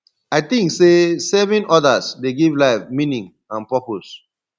i think say serving others dey give life meaning and purpose